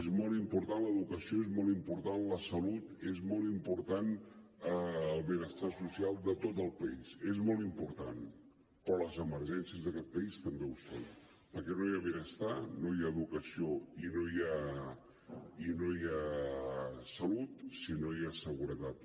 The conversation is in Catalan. és molt important l’educació és molt important la salut és molt important el benestar social de tot el país és molt important però les emergències d’aquest país també ho són perquè no hi ha benestar no hi ha educació i no hi ha salut si no hi ha seguretat